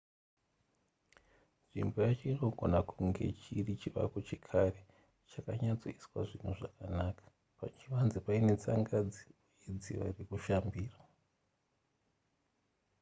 nzvimbo yacho inogona kunge chiri chivako chekare chakanyatsoiswa zvinhu zvakanaka pachivanze paine tsangadzi uye dziva rekushambira